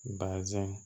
Bazɛn